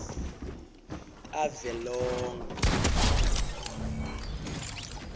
tavelonkhe